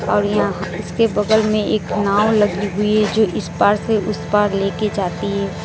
और यहां इसके बगल में एक नाव लगी हुई है जो इस पार से उसे पार लेकर जाती है।